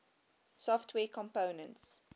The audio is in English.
software components